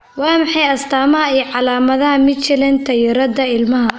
Waa maxay astamaha iyo calaamadaha Michelin taayirrada ilmaha?